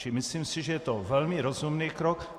Čili myslím si, že je to velmi rozumný krok.